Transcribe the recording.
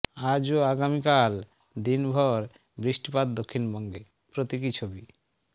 আজ ও আগামিকাল দিনভর বৃষ্টিপাত দক্ষিণবঙ্গে প্রতীকী ছবি